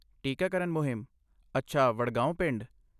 ਟੀਕਾਕਰਨ ਮੁਹਿੰਮ, ਅੱਛਾ, ਵਡਗਾਓਂ ਪਿੰਡ।